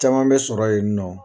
Caman bɛ sɔrɔ yen nɔ.